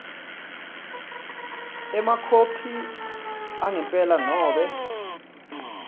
emakhophi angempela nobe